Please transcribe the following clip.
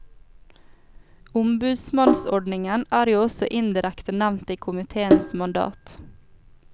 Ombudsmannsordningen er jo også indirekte nevnt i komiteens mandat.